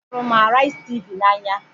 Ahụrụ m Araizi Tv n'anya